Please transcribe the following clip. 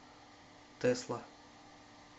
тесла